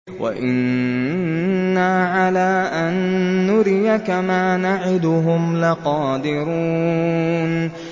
وَإِنَّا عَلَىٰ أَن نُّرِيَكَ مَا نَعِدُهُمْ لَقَادِرُونَ